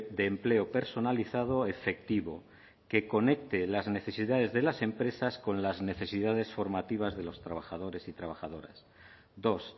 de empleo personalizado efectivo que conecte las necesidades de las empresas con las necesidades formativas de los trabajadores y trabajadoras dos